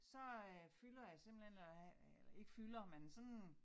Så øh fylder jeg simpelthen og ikke fylder men sådan